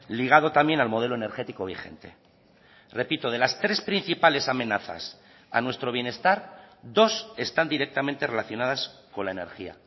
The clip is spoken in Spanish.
ligado también al modelo energético vigente repito de las tres principales amenazas a nuestro bienestar dos están directamente relacionadas con la energía